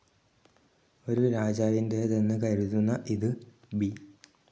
ഒരു രാജാവിന്റേതെന്ന് കരുതുന്ന ഇത് ബി.